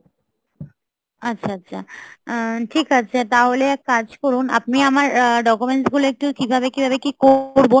আচ্ছা, আচ্ছা, আহ ঠিক আছে. তাহলে এক কাজ করুন আপনি আমার অ্যা documents গুলো একটু কিভাবে কিভাবে কি করবো?